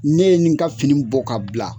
Ne ye n ka fini bɔ k'a bila